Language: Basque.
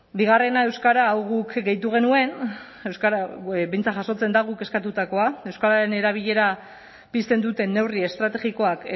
bigarrena euskara hau guk gehitu genuen euskara behintzat jasotzen da guk eskatutakoa euskararen erabilera pizten duten neurri estrategikoak